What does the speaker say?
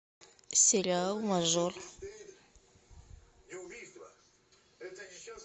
сериал мажор